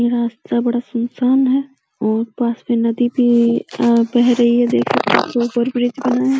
ये रास्ता बड़ा सुनसान है और पास में नदी भी बह रही है। देखो इसके ऊपर ब्रिज बना है।